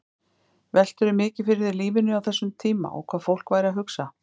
Veltirðu mikið fyrir þér lífinu á þessum tíma og hvað fólk væri að hugsa?